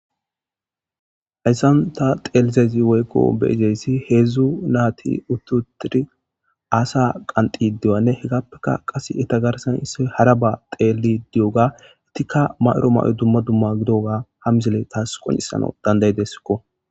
hayssan ta xeelizezi woykko beejeyssi heedzdzu naati uttutiri aasa qanxi diwanne hegappeka qase eta garsan issoy hara ba teeli di7oga itikka mayro may7o dumma dumma gidoga ha mizile taas qonisano dandayideskko